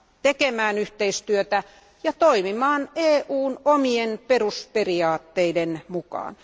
tekemään yhteistyötä ja toimimaan EUn omien perusperiaatteiden mukaan.